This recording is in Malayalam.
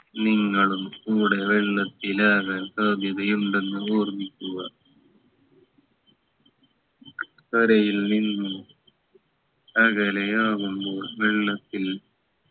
നിങ്ങളും കൂടെ വെള്ളത്തിലാകാൻ സാധ്യതയുണ്ടെന്ന് ഓർമിക്കുക കരയിൽ നിന്നും അകലെയാവുമ്പോൾ വെള്ളത്തിൽ